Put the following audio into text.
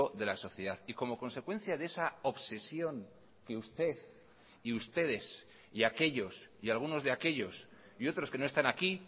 de la sociedad y como consecuencia de esa obsesión que usted y ustedes y aquellos y algunos de aquellos y otros que no están aquí